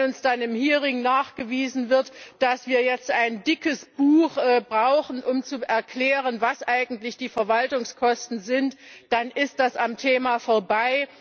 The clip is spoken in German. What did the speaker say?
Wenn uns dann im Hearing nachgewiesen wird, dass wir jetzt ein dickes Buch brauchen, um zu erklären, was eigentlich die Verwaltungskosten sind, dann ist das am Thema vorbei.